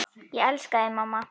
Ég elska þig mamma.